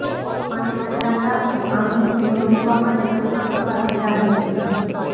અને એમના ચાહકો આમની ફિલ્મો જોવા માટે કઈ પણ કરવા તૈયાર રહે છે